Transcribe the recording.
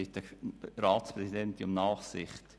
Ich bitte die Ratspräsidentin dafür um Nachsicht.